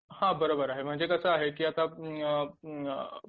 हा बरोबर आहे म्हणजे कसं आहे की आता